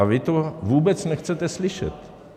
A vy to vůbec nechcete slyšet.